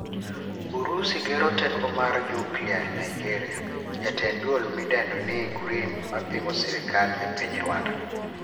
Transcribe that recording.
Urusi gero kar teko mar nyukilia Naijeria. Jatend duol midendo ni Green mapingo sirkal e piny Rwanda,